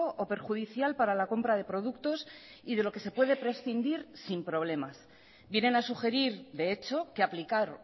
o perjudicial para la compra de productos y de lo que se puede prescindir sin problemas vienen a sugerir de hecho que aplicar